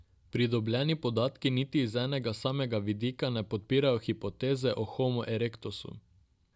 Pridobljeni podatki niti z enega samega vidika ne podpirajo hipoteze o homo erectusu.